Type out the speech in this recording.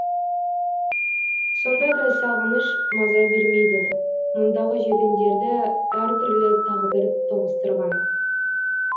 сонда да сағыныш маза бермейді мұндағы жетімдерді әр түрлі тағдыр тоғыстырған